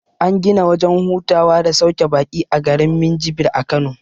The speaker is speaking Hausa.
An gina wajen hutawa da sauke baƙi a garin minjibir a kano